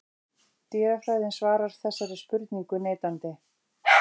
Dýrafræðin svarar þessari spurningu neitandi.